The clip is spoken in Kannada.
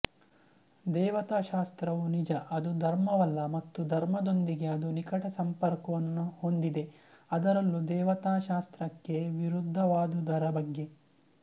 ದೇವತಾಶಾಸ್ತ್ರವು ನಿಜ ಅದು ಧರ್ಮವಲ್ಲ ಮತ್ತು ಧರ್ಮದೊಂದಿಗೆ ಅದು ನಿಕಟ ಸಂಪರ್ಕವನ್ನು ಹೊಂದಿದೆ ಅದರಲ್ಲೂ ದೇವತಾಶಾಸ್ತ್ರಕ್ಕೆ ವಿರುದ್ಧವಾದುದರ ಬಗ್ಗೆ